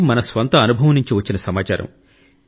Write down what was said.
ఇది మన స్వంత అనుభవం నుండి వచ్చిన సమాచారం